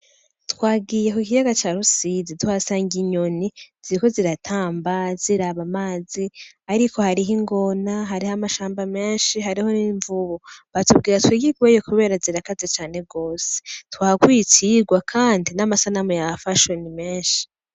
Twagiye ku kiyaga ca Rusizi tuhasanga inyoni ziriko ziratamba ziraba amazi, ariko hariho ingona, hariho amashamba menshi, hariho n'imvubu, batubwira twigigweyo kubera zirakaze cane gose, twahakuye icigwa kandi n'amasanamu yahafashwe ni menshi.